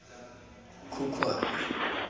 khukhwane